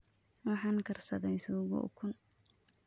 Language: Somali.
Waxaan karsaday suugo ukun